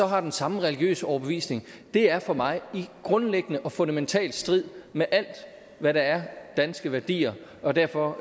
har den samme religiøs overbevisning er for mig grundlæggende i fundamental strid med alt hvad der er danske værdier og derfor